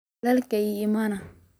Walalkey aya iimade.